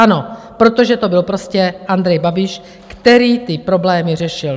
Ano, protože to byl prostě Andrej Babiš, který ty problémy řešil.